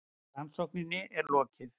Rannsókninni er lokið!